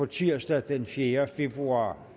tirsdag den fjerde februar